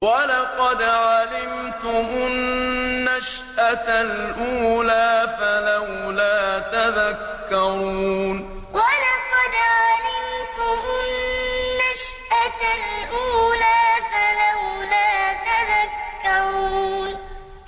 وَلَقَدْ عَلِمْتُمُ النَّشْأَةَ الْأُولَىٰ فَلَوْلَا تَذَكَّرُونَ وَلَقَدْ عَلِمْتُمُ النَّشْأَةَ الْأُولَىٰ فَلَوْلَا تَذَكَّرُونَ